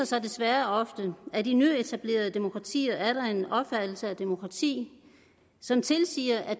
sig desværre ofte at i nyetablerede demokratier er der en opfattelse af demokrati som tilsiger at